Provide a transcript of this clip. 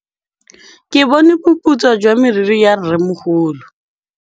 Ke bone boputswa jwa meriri ya rrêmogolo.